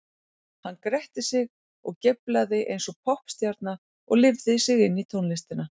Hann gretti sig og geiflaði eins og poppstjarna og lifði sig inn í tónlistina.